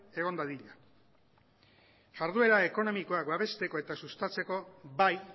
egon dadila jarduera ekonomikoak babesteko eta sustatzeko bai